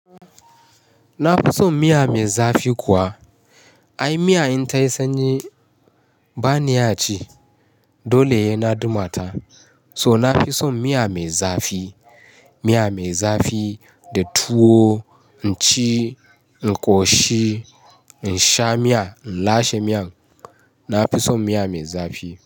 Na fi son miya mai zafi kuwa. Ai miya in ta yi sanyi ba ni iya ci, dole he na duma ta. So na fi son miya mai zafi, miya mai zafi da tuwo in ci, in ƙoshi in sha miya in lashe miyan. Na fi son miya mai zafi.